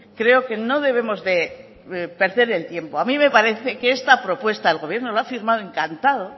creo que no debemos de perder el tiempo a mí me parece que esta propuesta el gobierno lo ha firmado encantado